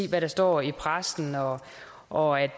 hvad der står i pressen og og at